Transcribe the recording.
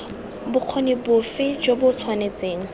bokgoni bofe jo bo tshwanetseng